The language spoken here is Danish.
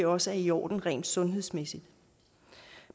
også er i orden rent sundhedsmæssigt